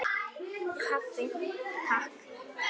Kaffi, Takk!